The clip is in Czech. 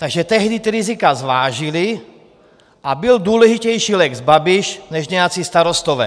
Takže tehdy ta rizika zvážili a byl důležitější lex Babiš než nějací starostové.